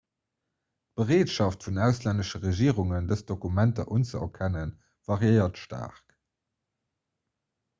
d'bereetschaft vun auslännesche regierungen dës dokumenter unzeerkennen variéiert staark